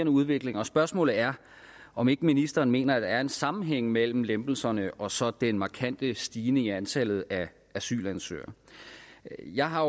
udvikling og spørgsmålet er om ikke ministeren mener at der er en sammenhæng mellem lempelserne og så den markante stigning i antallet af asylansøgere jeg har